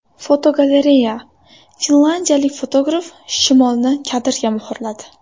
Fotogalereya: Finlyandiyalik fotograf shimolni kadrga muhrladi.